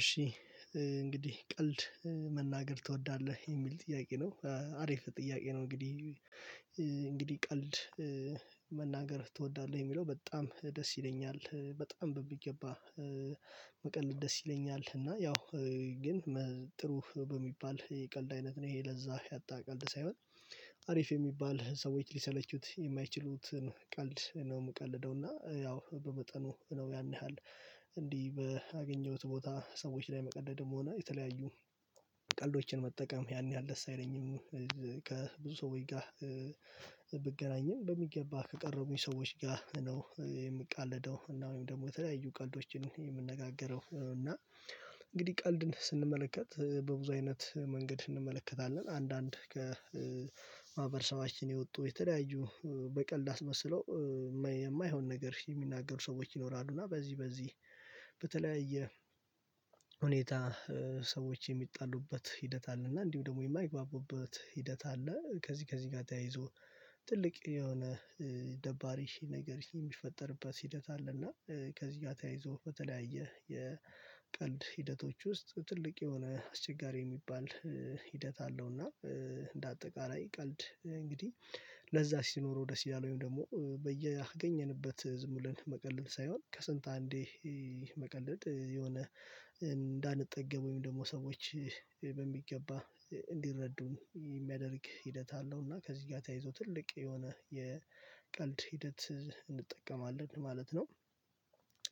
እሺ። እንግዲህ ቀልድ መናገር ትወዳለህ የሚል ጥያቄ ነው አሪፍ ጥያቄ ነው። እንግዲህ እንግዲህ ቀልድ መናገር ትወዳለህ የሚለው በጣም ደስ ይለኛል በጣም በብይ ገባ። መቀልድ ደስ ይለኛል እና ያው ግን ጥሩ በሚባል የቀልድ አይነት ነው ይሄ ለዛ ያጣ ቀልድ ሳይሆን አሪፍ የሚባል ሰዎች ሊሰለቹት የማይችሉትን ቀልድ ነው የምቀልደው እና ያው በመጠኑ ነው ያን ያህል እንዲህ ባገኘሁት ቦታ ሰዎች ላይ መቀለድም ሆነ የተለያዩ ቀልዶችን መጠቀም ያን ያህል ደስ አይለኝም። ከብዙ ሰው ጋር ብገናኝም በሚገባ ከቀረቡኝ ሰዎች ጋር ነው የምቃለደው እና ወይም ደግሞ የተለያዩ ቀልዶችን የምንነጋገረው እና እንግዲህ ቀልድን ስንመለከት በብዙ አይነት መንገድ እንመለከታለን። አንዳንድ ከማህበረሰባችን የወጡ የተለያዩ በቀልድ አስመስሎ የማይሆን ነገር የሚናገሩ ሰዎች ይኖራሉ እና በዚህ በዚህ በተለያየ ሁኔታ ሰዎች የሚጣሉበት ሂደት አለ። እና እንዲሁም ደግሞ የማይግባቡበት ሂደት አለ። ከዚህ ከዚህ ጋር ተያይዞ ትልቅ የሆነ ደባሪ ነገር የሚፈጠርበት ሂደት አለ። እና ከዚህ ጋር ተያይዞ በተለያየ የቀልድ ሂደቶች ውስጥ ትልቅ የሆነ አስቸጋሪ የሚባል ሂደት አለው። እና እንደ አጠቃላይ ቀልድ እንግዲህ ለዛ ሲኖረው ደስ ይላል። ወይም ደግሞ በየአገኘንበት ዝም ብለን መቀለድ ሳይሆን ከስንት አንዴ መቀለድ የሆነ እንዳንጠገብ ወይም ደግሞ ሰዎች በሚገባ እንዲረዱን የሚያደርግ ሂደት አለው። እና ከዚህ ጋር ተያይዞ ትልቅ የሆነ የቀልድ ሂደት እንጠቀማለን ማለት ነው።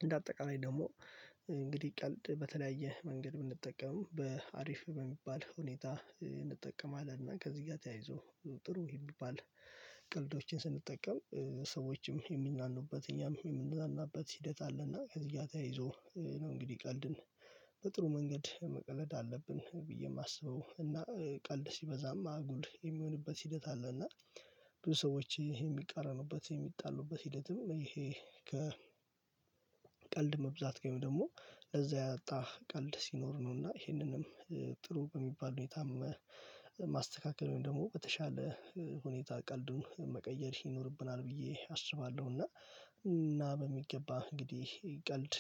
እንደ አጠቃላይ ደግሞ እንግዲህ ቀልድ በተለያየ መንገድ ብንጠቀም በአሪፍ በሚባል ሁኔታ እንጠቀማለን። እና ከዚህ ጋር ተያይዞ ጥሩ የሚባል ቀልዶችን ስንጠቀም ሰዎችም የሚዝናኑበት እኛም የምንዝናኑበት ሂደት አለና ከዚህ ጋር ተያይዞ ነው። እንግዲህ ቀልድን በጥሩ መንገድ መቀለድ አለብን ብዬ የማስበው እና ቀልድ ሲበዛም አጉል የሚሆንበት ሂደት አለ። እና ብዙ ሰዎች የሚቃረኑበት የሚጣሉበት ሂደትም ይሄ ቀልድ መብዛት ወይም ደግሞ ለዛ ያጣ ቀልድ ሲኖር ነው። እና ይሄንንም ጥሩ በሚባል ሁኔታም ማስተካከል ወይም ደግሞ በተሻለ ሁኔታ ቀልዱን መቀየር ይኖርብናል ብዬ አስባለሁ። እና እና በሚገባ እንግዲህ ቀልድ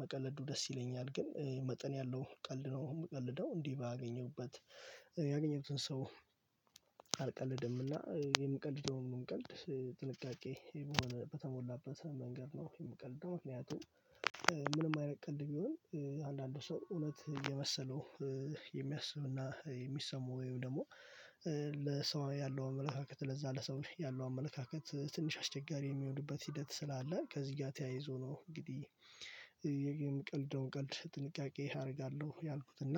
መቀለዱ ደስ ይለኛል ግን መጠን ያለው ቀልድ ነው የምቀልደው። እንዲህ ባገኘውበት ያገኘሁትን ሰው አልቀልድምና የምቀልደውን ቀልድ ጥንቃቄ በሆነ በተሞላበት መንገድ ነው የምቀልደው። ምንም አይነት ቀልድ ቢሆን አንዳንዱ ሰው እውነት እየመሰለው የሚያስብና የሚሰማው ወይም ደግሞ ለሰው ያለው አመለካከት ለዛ ለሰው ያለው አመለካከት ትንሽ አስቸጋሪ የሚሆንበት ሂደት ስላለ ከዚህ ጋር ተያይዞ ነው። እንግዲህ የግብር ምቀልደውን ቀልድ ጥንቃቄ አደርጋለሁ። ያልኩት እና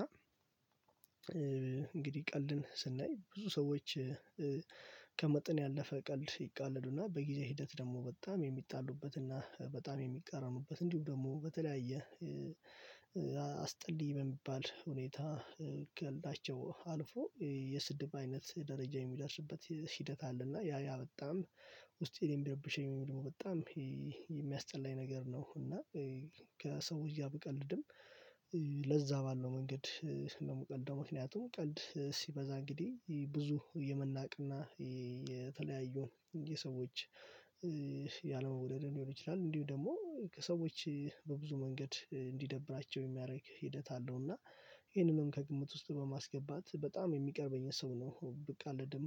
እንግዲህ ቀልድን ስናይ ብዙ ሰዎች ከመጠን ያለፈ ቀልድ ይቃለዱና በጊዜ ሂደት ደግሞ በጣም የሚጣሉበትና በጣም የሚቃረኑበት እንዲሁም ደግሞ በተለያየ አስጠልይ በሚባል ሁኔታ ቀልዳቸው አልፎ የስድብ አይነት ደረጃ የሚደርስበት ሂደት አለ። እና ያ ያ በጣም ውስጤን የሚረብሸኝ በጣም የሚያስጠላኝ ነገር ነው። እና ከሰው ብቀልድም ለዛ ባለው መንገድ ነው ምቀልደው ምክንያቱም ቀልድ ሲበዛ እንግዲህ ብዙ የመናቅና የተለያዩ የሰዎች ያለመወደድ ሊሆን ይችላል። እንዲሁ ደግሞ ከሰዎች በብዙ መንገድ እንዲደብራቸው የሚያደርግ ሂደት አለው። እና ይሄንንም ከግምት ውስጥ በማስገባት በጣም የሚቀርበኝን ሰው ነው ብቃለድም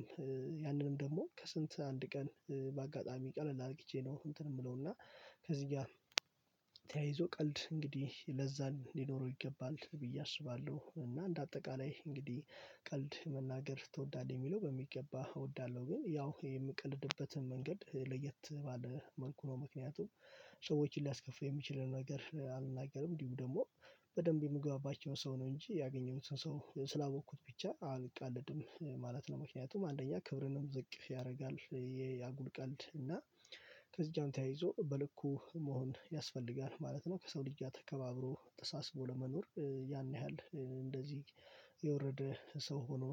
ያንንም ደግሞ ከስንት አንድ ቀን በአጋጣሚ ቀለል አርግቼ ነው እንትን የምለው እና ከዚህ ጋር ተያይዞ ቀልድ እንግዲህ ለዛ ሊኖረው ይገባል ብዬ አስባለሁ። እና እንደ አጠቃላይ እንግዲህ ቀልድ መናገር ትወዳለህ የሚለው በሚገባ እወዳለሁ። ግን ያው የምቀልድበትን መንገድ ለየት ባለ መልኩ ነው ምክንያቱም ሰዎችን ሊያስከፍሉ የሚችሉ ነገር አልናገርም። እንዲሁ ደግሞ በደንብ የምገባባቸው ሰው ነው እንጂ ያገኘሁትን ሰው ስላወቅኩት ብቻ አልቀልድም ማለት ነው። ምክንያቱም አንደኛ ክብርንም ዝቅ ያደርጋል የያጉል ቀልድ እና ከዚህ ጋር ተያይዞ በልኩ መሆን ያስፈልጋል ማለት ነው። ከሰው ድጃ ተከባብሮ ተሳስቦ ለመኖር ያን ያህል እንደዚህ የወረደ ሰው ሆኖ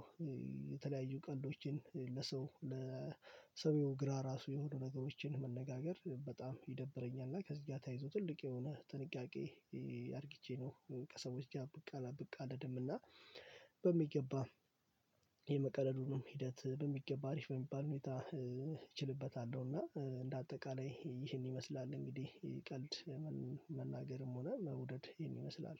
የተለያዩ ቀልዶችን ለሰው ለሰው የሆኑ ግራ ራሱ የሆኑ ነገሮችን መነጋገር በጣም ይደብረኛል። እና ከዚህ ጋር ተያይዞ ትልቅ የሆነ ጥንቃቄ አድርጊቼ ነው ከሰወች ጋር ብቅ አለ ብቅ አለ ደም እና በሚገባ የመቀለዱንም ሂደት በሚገባ አሪፍ በሚባል ሁኔታ እችልበታለሁ። እና እንደ አጠቃላይ ይሄን ይመስላል እንግዲህ የቀልድ መናገርም ሆነ መውደድ ይሄን ይመስላል